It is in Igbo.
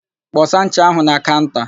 Kpọsa ncha áhụ̀ na kaụnta!